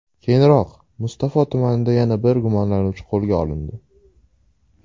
Keyinroq, Mustafo tumanida yana bir gumonlanuvchi qo‘lga olindi.